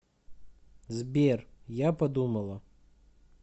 сбер я подумала